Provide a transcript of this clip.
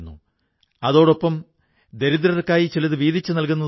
നേരത്തേ മംജൂർ ഭായി തടി വെട്ടുകാരനായ ഒരു സാധാരണ തൊഴിലാളിയായിരുന്നു